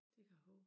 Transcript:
Det kan jeg hove